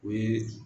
O ye